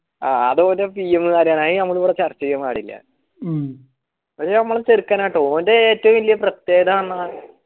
അതോൻറെ pm കാര്യാണ് അതിവിടെ ചർച്ചചെയ്യാൻ പാടില് അതമ്മള ചേർക്കനാട്ടോ ഓൻറെ ഏറ്റു വെല്യ പ്രത്യേകതന്ന